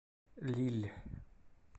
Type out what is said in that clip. лилль